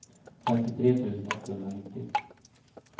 femtiotre tusen åttahundranittio